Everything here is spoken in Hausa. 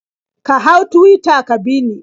Ka hau Tuwita ka bi ni.